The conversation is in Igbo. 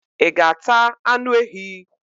I ga ata anu ehi?